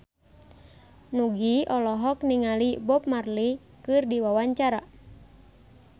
Nugie olohok ningali Bob Marley keur diwawancara